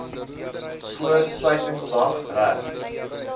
voor sluitingsdag reg